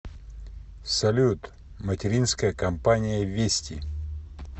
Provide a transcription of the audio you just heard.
салют материнская компания вести